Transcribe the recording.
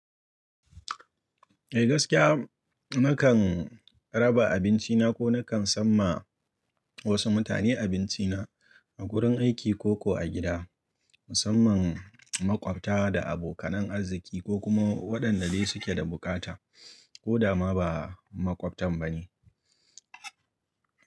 Eh gaskiya nakan raba abinci na ko nakan san ma wasu mutane abinci na a gurin aiki ko ko a gida musamman maƙwabta da abokanan arziki ko kuma waɗanda dai suke da buƙata ko da ma ba maƙwabtan ba ne.